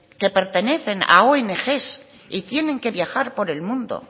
que pertenecen a ong y tienen que viajar por el mundo